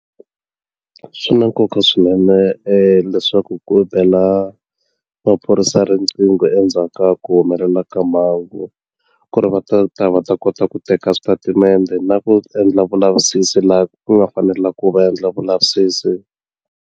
Swi na nkoka swinene leswaku ku bela maphorisa riqingho endzhaku ka ku humelela ka mhangu ku ri va ta ta va ta kota ku teka switatimende na ku endla vulavisisi laha ku nga fanela ku va endla vulavisisi.